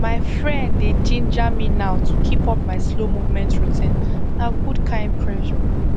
my friends dey ginger me now to keep up my slow movement routine na good kind pressure